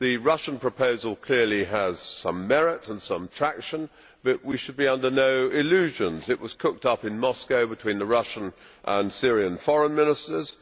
The Russian proposal clearly has some merit and some attraction, but we should be under no illusions it was cooked up in Moscow between the Russian and Syrian foreign ministers.